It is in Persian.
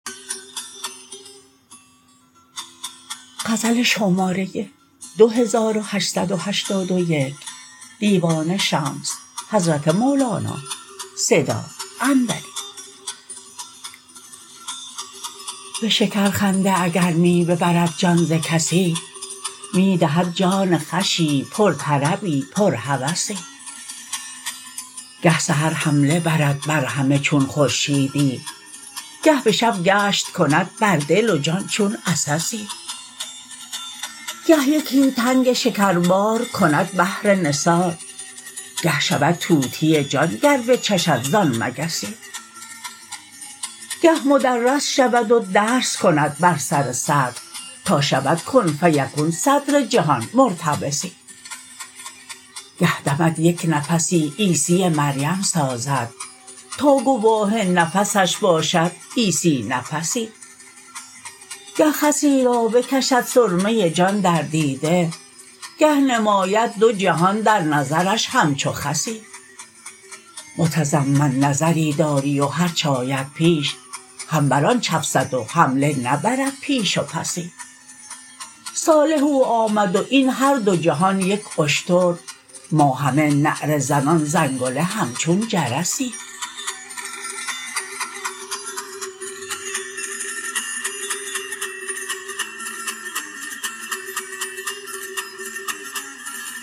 به شکرخنده اگر می ببرد جان ز کسی می دهد جان خوشی پرطربی پرهوسی گه سحر حمله برد بر همه چون خورشیدی گه به شب گشت کند بر دل و جان چون عسسی گه یکی تنگ شکربار کند بهر نثار گه شود طوطی جان گر بچشد زان مگسی گه مدرس شود و درس کند بر سر صدر تا شود کن فیکون صدر جهان مرتبسی گه دمد یک نفسی عیسی مریم سازد تا گواه نفسش باشد عیسی نفسی گه خسی را بکشد سرمه جان در دیده گه نماید دو جهان در نظرش همچو خسی متزمن نظری داری و هرچ آید پیش هم بر آن چفسد و حمله نبرد پیش و پسی صالح او آمد و این هر دو جهان یک اشتر ما همه نعره زنان زنگله همچون جرسی